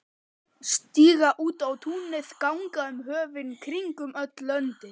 Stíga út á túnið, ganga um höfin, kringum öll löndin.